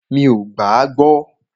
Mí o gbà à gbọ.